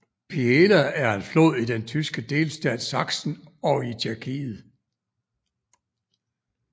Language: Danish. Biela er en flod i den tyske delstat Sachsen og i Tjekkiet